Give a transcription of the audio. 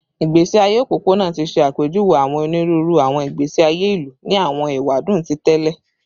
Igbesi aye opopona ti ṣe apejuwe awọn oniruuru awọn igbesi aye ilu ni awọn ewadun ti tẹlẹ